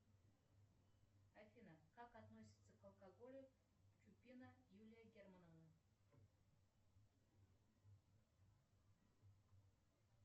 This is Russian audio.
афина как относится к алкоголю чупина юлия германовна